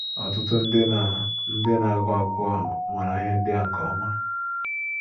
Ọtụtụ ndị na - ndị na - agụ akwụkwọ maara ihe ndị a nke ọma.